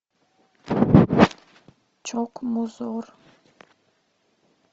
чок музор